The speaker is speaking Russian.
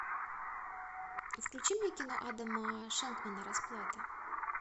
включи мне кино адама шенкмана расплата